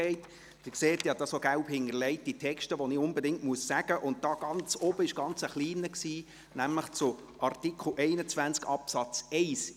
Sie sehen, dass ich hier gelb hinterlegte Texte habe, die ich unbedingt erwähnen muss, und da oben war ein ganz kleiner Text, nämlich zu Artikel 21 Absatz 1.